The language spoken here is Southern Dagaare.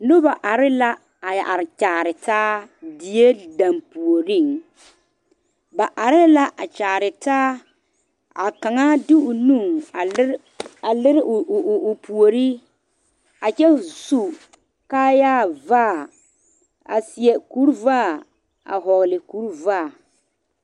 Noba are la a are Kyaara taa die danpuori ba are la a Kyaara taa a kaŋa de o nu a leri o o puori a kyɛ su kaayaa vaa a seɛ kur vaa a vɔgle kur vaa.